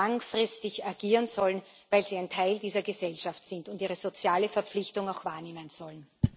langfristig agieren sollen, weil sie ein Teil dieser Gesellschaft sind und ihre soziale Verpflichtung auch wahrnehmen sollen.